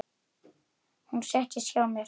Hún settist hjá mér.